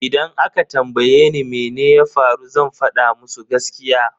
Idan aka tambaye ni mene ya faru zan fada musu gaskiya.